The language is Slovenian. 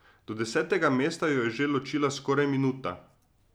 Do desetega mesta jo je že ločila skoraj minuta.